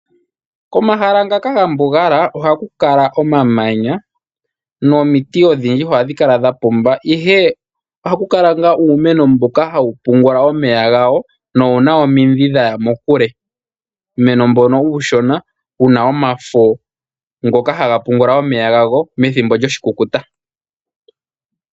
Komahala ngaka ga mbugala ohaku kala omamanya nomiti odhindji ohadhi kala dha pumba, ihe ohaku kala ngaa uumeno mboka hawu mbungula omeya gawo nowuna omidhi dhaya mokule. Uumeno mbono uushona wuna omafo ngoka haga pungula omeya gago methimbo lyoshikukuta.